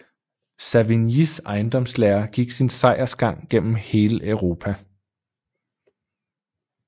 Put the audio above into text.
Savignys ejendomslære gik sin sejrsgang gennem hele Europa